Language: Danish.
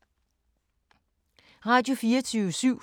Radio24syv